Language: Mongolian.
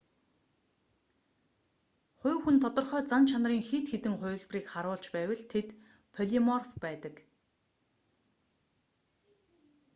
хувь хүн тодорхой зан чанарын хэд хэдэн хувилбарыг харуулж байвал тэд полиморф байдаг